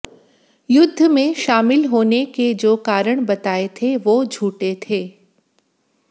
युद्ध में शामिल होने के जो कारण बताए थे वो झूठे थे